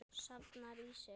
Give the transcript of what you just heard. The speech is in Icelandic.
Safnar í sig.